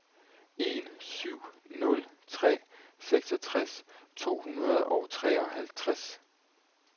en syv nul tre seksogtres to hundrede og treoghalvtreds